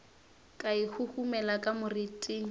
ka e huhumela ka moriting